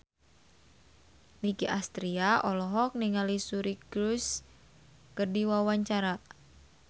Nicky Astria olohok ningali Suri Cruise keur diwawancara